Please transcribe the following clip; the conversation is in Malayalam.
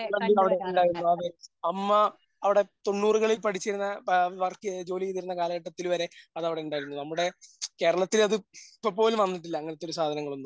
ഞങ്ങൾ അവിടെ ഉണ്ടായിരുന്നു. അതെ അമ്മ അവിടെ തൊണ്ണൂറുകളിൽ പഠിച്ചിരുന്ന ആ വർക്ക് ചെയ്ത് ജോലി ചെയ്തിരുന്ന കാലഘട്ടത്തിൽ വരെ അത് അവിടെ ഉണ്ടായിരുന്നു. നമ്മടെ കേരളത്തിൽ അത് ഇപ്പോ പോലും വന്നിട്ടില്ല. അങ്ങനത്തെ ഒരു സാധനങ്ങളൊന്നും